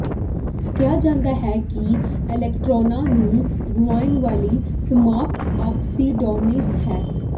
ਕਿਹਾ ਜਾਂਦਾ ਹੈ ਕਿ ਇਲੈਕਟ੍ਰੋਨਾਂ ਨੂੰ ਗੁਆਉਣ ਵਾਲੀ ਸਪਾਂਸ ਆਕਸੀਡਾਈਜ਼ਡ ਹੈ